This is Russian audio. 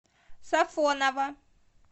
сафоново